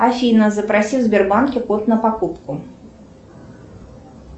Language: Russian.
афина запроси в сбербанке код на покупку